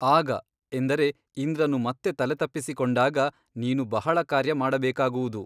ಆಗ ಎಂದರೆ ಇಂದ್ರನು ಮತ್ತೆ ತಲೆತಪ್ಪಿಸಿಕೊಂಡಾಗ ನೀನು ಬಹಳ ಕಾರ್ಯ ಮಾಡಬೇಕಾಗುವುದು.